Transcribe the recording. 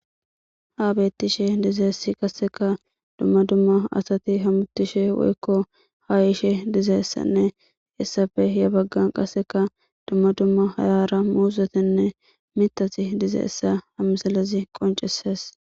ha bettishe dizaessi qasseka dumma dumma asati hamuttishe woykko haa ishe dizaessanne essafe ya baggan qasseka dumma dumma hayaara muuzetenne mitati dizaessa ha misalazi qoncesees